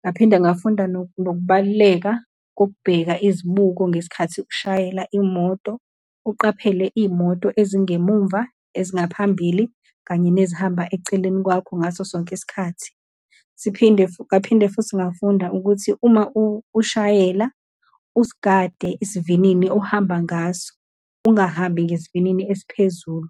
Ngaphinde ngafunda nokubaluleka kokubheka izibuko ngesikhathi ushayela imoto, uqaphele iy'moto ezingemumva, ezingaphambili, kanye nezihamba eceleni kwakho ngaso sonke isikhathi. Siphinde, ngaphinde futhi ngafunda ukuthi, uma ushayela, usigade esivinini ohamba ngaso, ungahambi ngesivinini esiphezulu.